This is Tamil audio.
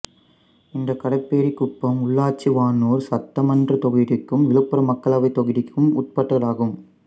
இந்த கடப்பேரிகுப்பம் ஊராட்சி வானூர் சட்டமன்றத் தொகுதிக்கும் விழுப்புரம் மக்களவைத் தொகுதிக்கும் உட்பட்டதாகும்